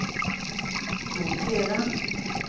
rotera